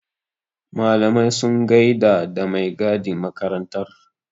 Malamai sun gaida da mai gadin makarantar.